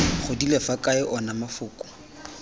godile fa kae ona mafoko